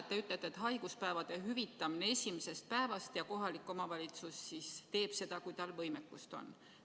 Te räägite haiguspäevade hüvitamisest alates esimesest päevast ja et kohalik omavalitsus teeb seda, kui tal võimekust on.